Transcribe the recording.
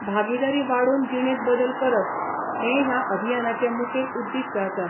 भागीदारी वाडोवन जीणेत बदल करप, हे ह्या अभियानाचे मुखेल उद्दीष्ट आसा.